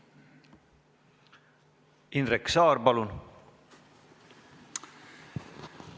Indrek Saar, palun!